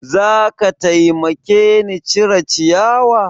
Za ka taimake ni cire ciyawa?